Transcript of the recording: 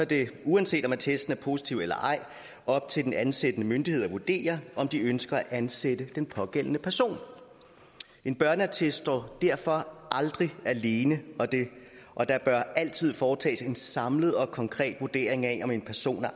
det uanset om attesten er positiv og eller ej op til den ansættende myndighed at vurdere om de ønsker at ansætte den pågældende person en børneattest står derfor aldrig alene og der bør altid foretages en samlet og konkret vurdering af om en person er